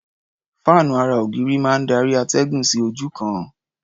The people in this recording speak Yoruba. Fáànú ara-ògiri máa ń darí atẹ́gùn sí ojú kan.